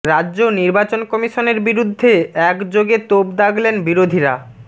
রাজ্য নির্বাচন কমিশনের বিরুদ্ধে এক যোগে তোপ দাগলেন বিরোধীরা